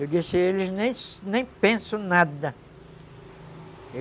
Eu disse, eles nem pensam nada.